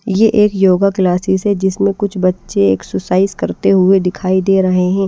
यह एक yoga classes है जिसमें कुछ बच्चे एक्सरसाइज करते हुए दिखाई दे रहे हैं।